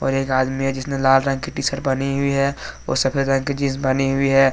और एक आदमी है जिसने लाल रंग की टी शर्ट पहनी हुई है और सफेद रंग की जींस पहनी हुई है।